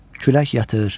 Külək yatır,